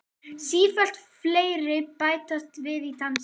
Sífellt fleiri bætast við í dansinn.